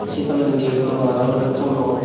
si tolendi dugan an olode ton or.